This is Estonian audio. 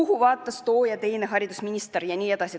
Kuhu vaatas too ja teine haridusminister?" jne.